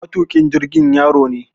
Matuƙin jirgin yaro ne